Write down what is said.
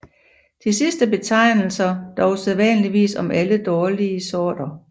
De sidste betegnelser dog sædvanligvis om alle dårligere sorter